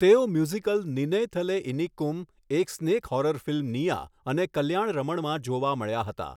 તેઓ મ્યુઝિકલ નિનૈથલે ઇનિક્કુમ, એક snake horror film નિયા અને કલ્યાણરમણમાં જોવા મળ્યા હતા.